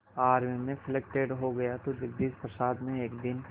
army में selected हो गया तो जगदीश प्रसाद ने एक दिन